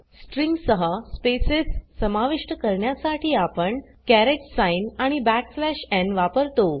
string सह spaces समाविष्ट करण्यासाठी आपण कॅरेट साइन आणि n वापरतो